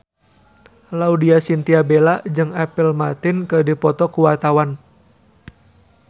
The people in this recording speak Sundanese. Laudya Chintya Bella jeung Apple Martin keur dipoto ku wartawan